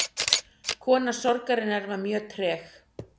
Kona sorgarinnar var mjög treg.